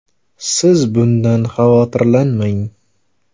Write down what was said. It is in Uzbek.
Siz bundan xavotirlanmang.